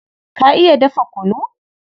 Ka iya dafa kunu?